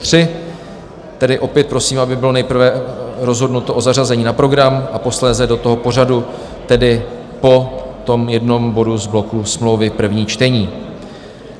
Tedy opět prosím, aby bylo nejprve rozhodnuto o zařazení na program a posléze do toho pořadu, tedy po tom jednom bodu z bloku Smlouvy - první čtení.